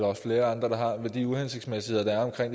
også flere andre der har de uhensigtsmæssigheder der er